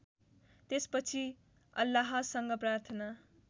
त्यसपछि अल्लाहसँग प्रार्थना